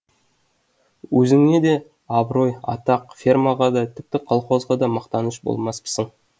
өзіңе де абырой атақ фермаға да тіпті колхозға да мақтаныш болмаспысың